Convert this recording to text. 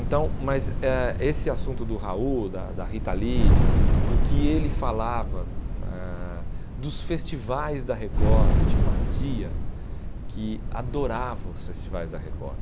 Então, mas eh esse assunto do Raul, da da Rita Lee, do que ele falava ãh, dos festivais da Record, eu tinha uma tia que adorava os festivais da Record.